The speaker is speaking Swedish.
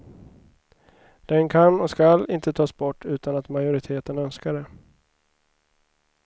Den kan och skall inte tas bort utan att majoriteten önskar det.